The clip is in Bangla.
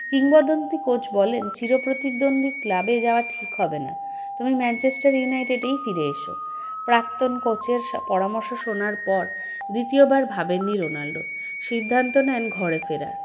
কিংবদন্তি coach বলেন চিরপ্রতিদ্বন্দ্বী club -এ জাওয়া ঠিক হবে না তুমি ম্যানচেস্টার ইউনাইটেডেই ফিরে এসো প্রাক্তন coach -এর স পরামর্শ শোনার পর দ্বিতীয়বার ভাবেননি রোনাল্ডো সিদ্ধান্ত নেন ঘরে ফেরার